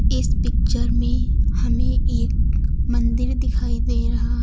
इस पिक्चर में हमें एक मंदिर दिखाई दे रहा--